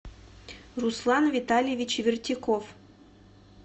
руслан витальевич вертяков